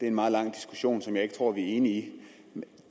en meget lang diskussion hvor jeg ikke tror at vi er enige